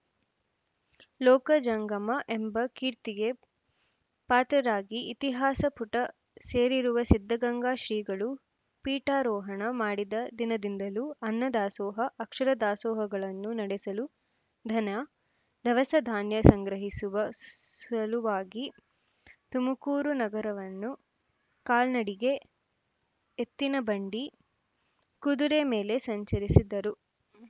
ಲೋಕ ಜಂಗಮ ಎಂಬ ಕೀರ್ತಿಗೆ ಪಾತ್ರರಾಗಿ ಇತಿಹಾಸ ಪುಟ ಸೇರಿರುವ ಸಿದ್ಧಗಂಗಾ ಶ್ರೀಗಳು ಪೀಠಾರೋಹಣ ಮಾಡಿದ ದಿನದಿಂದಲೂ ಅನ್ನ ದಾಸೋಹ ಅಕ್ಷರ ದಾಸೋಹಗಳನ್ನು ನಡೆಸಲು ಧನ ದವಸ ಧಾನ್ಯ ಸಂಗ್ರಹಿಸುವ ಸ್ಸ್ ಸಲುವಾಗಿ ತುಮಕೂರು ನಗರವನ್ನು ಕಾಲ್ನಡಿಗೆ ಎತ್ತಿನ ಬಂಡಿ ಕುದುರೆ ಮೇಲೆ ಸಂಚರಿಸಿದ್ದರು